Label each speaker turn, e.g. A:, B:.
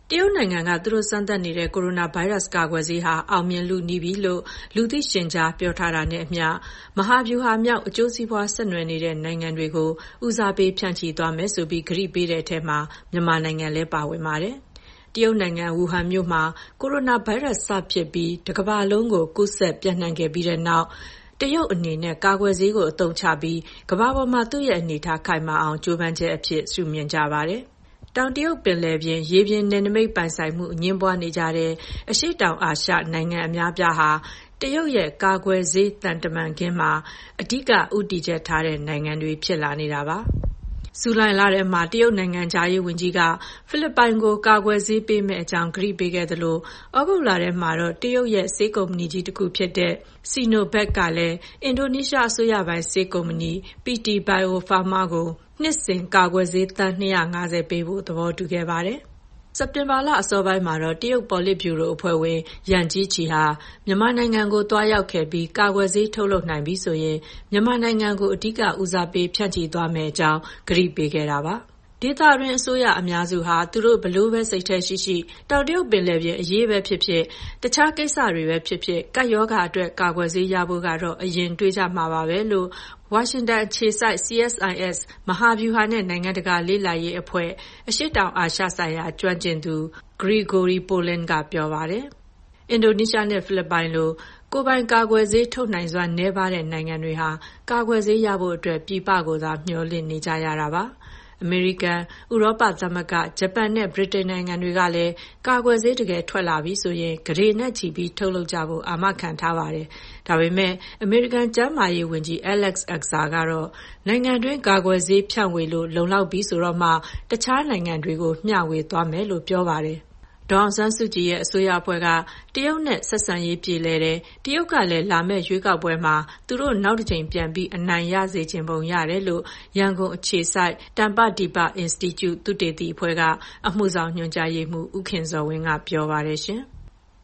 A: တရုတ်နိုင်ငံက သူတို့စမ်းသပ်နေတဲ့ ကိုရိုနာဗိုင်းရပ်စ် ကာကွယ်ဆေးဟာ အောင်မြင်လုနီးပြီလို့ လူသိရှင်ကြား ပြောထားတာနဲ့အမျှ မဟာဗျူဟာမြောက် အကျိုးစီးပွား ဆက်နွှယ်နေတဲ့ နိုင်ငံတွေကို ဦးစားပေး ဖြန့်ချိပေးမယ်ဆိုပြီး ကတိပေးထားတဲ့အထဲမှာ မြန်မာနိုင်ငံလည်း ပါဝင်ပါတယ်။ တရုတ်နိုင်ငံ၊ ဝူဟန်မြို့မှာ ကိုရိုနာဗိုင်းရပ်စ်စဖြစ်ပြီး တကမ္ဘာလုံးကို ပျံ့နှံ့ကူးစက်ခဲ့ပြီးတဲ့နောက် တရုတ်အနေနဲ့ ကာကွယ်ဆေးကို အသုံးချပြီး ကမ္ဘာပေါ်မှာ သူ့ရဲ့အနေအထား ခိုင်မာအောင် ကြိုးပမ်းချက်အဖြစ် မြင်ကြပါတယ်။ တောင်တရုတ်ပင်လယ်ပြင် ရေပြင်နယ်နိမိတ်ပိုင်ဆိုင်မှု အငြင်းပွားနေကြတဲ့ အရှေ့တောင်အာရှနိုင်ငံ အများအပြားဟာ တရုတ်ရဲ့ "ကာကွယ်ဆေး သံခင်းတမန်ခင်း" မှာ အဓိက ဦးတည်ချက်ထားတဲ့နိုင်ငံတွေ ဖြစ်လာနေတာပါ။ ဇူလိုင်လထဲမှာ တရုတ်နိုင်ငံခြားရေးဝန်ကြီးက ဖိလစ်ပိုင်ကို ကာကွယ်ဆေးပေးမယ့် အကြောင်း ကတိပေးခဲ့သလို သြဂုတ်လထဲမှာတော့ တရုတ်ရဲ့ ဆေးကုမ္ပဏီကြီးတခုဖြစ်တဲ့ Sinovac ကလည်း အင်ဒိုနီးရှားအစိုးရပိုင် ဆေးကုမ္ပဏီ PT Bio Farma ကို နှစ်စဉ် ကာကွယ်ဆေး သန်း ၂၅၀ ပေးဖို့ သဘောတူခဲ့ပါတယ်။ စက်တင်ဘာလ အစောပိုင်းမှာတော့ တရုတ်ပေါ်လစ်ဗျူရိုအဖွဲ့ဝင် Yang Jiechi ဟာ မြန်မာနိုင်ငံကို သွားရောက်ခဲ့ပြီး ကာကွယ်ဆေး ထုတ်လုပ်နိုင်ပြီဆိုရင် မြန်မာနိုင်ငံကို အဓိကဦးစားပေး ဖြန့်ချိသွားမယ့်အကြောင်း ကတိပေးခဲ့တာပါ။ “ဒေသတွင်းအစိုးရ အများစုဟာ သူတို့ ဘယ်လိုပဲ စိတ်ထဲရှိရှိ တောင်တရုတ်ပင်လယ်အရေးပဲဖြစ်ဖြစ်၊ တခြားကိစ္စတွေပဲဖြစ်ဖြစ် ကပ်ရောဂါအတွက် ကာကွယ်ဆေးရဖို့ကတော့ အရင်တွေးကြမှာပါပဲ။” လို့ ဝါရှင်တန်အခြေစိုက် CSIS မဟာဗျူဟာနဲ့ နိုင်ငံတကာလေ့လာရေးအဖွဲ့ အရှေ့တောင်အာရှဆိုင်ရာ ကျွမ်းကျင်သူ Gregory Poling က ပြောပါတယ်။ အင်ဒိုနီးရှားနဲ့ ဖိလစ်ပိုင်လို ကိုယ်ပိုင်ကာကွယ်ဆေး ထုတ်နိုင်စွမ်း နည်းပါးတဲ့ နိုင်ငံတွေဟာ ကာကွယ်ဆေးရဖို့အတွက် ပြည်ပကိုသာ မျှော်လင့်နေကြရတာပါ။ အမေရိကန်၊ ဥရောပသမဂ္ဂ၊ ဂျပန်နဲ့ ဗြိတိန်နိုင်ငံတွေကလည်း ကာကွယ်ဆေး တကယ်ထွက်လာပြီဆိုရင် ကုဋေနဲ့ချီပြီး ထုတ်လုပ်ကြဖို့ အာမခံထားပါတယ်။ ဒါပေမယ့် အမေရိကန် ကျန်းမာရေးဝန်ကြီး Alex Azar ကတော့ နိုင်ငံတွင်း ကာကွယ်ဆေးဖြန့်ဝေလို့ လုံလောက်ပြီဆိုတော့မှ တခြားနိုင်ငံတွေကို မျှဝေသွားမှာဖြစ်ကြောင်း ပြောပါတယ်။ ဒေါ်အောင်ဆန်းစုကြည်အစိုးရအဖွဲ့က တရုတ်နဲ့ ဆက်ဆံရေး ပြေလည်တယ်၊ တရုတ်ကလည်း လာမယ့်ရွေးကောက်ပွဲမှာ သူတို့ နောက်တကြိမ် ပြန်အနိုင်ရစေချင်ပုံ ရတယ်လို့ ရန်ကုန်အခြေစိုက် တမ္ပဒီပအင်စတီကျု သုတေသီအဖွဲ့က အမှုဆောင်ညွှန်ကြားရေးမှူး ဦးခင်ဇော်ဝင်းက ပြောပါတယ်။